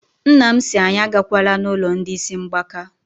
Nna m sị anyị agakwala n'ụlọ ndị ísí mgbaka.